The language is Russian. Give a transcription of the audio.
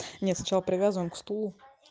нет сначала привязываем к стулу